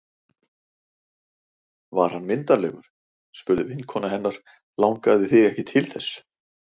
Var hann myndarlegur? spurði vinkona hennar Langaði þig ekki til þess?